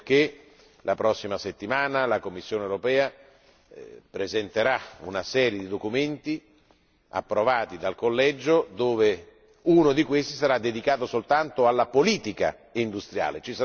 Ecco perché la prossima settimana la Commissione europea presenterà una serie di documenti approvati dal Collegio, uno dei quali sarà dedicato soltanto alla politica industriale.